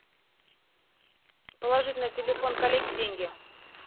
положить на телефон коллеги деньги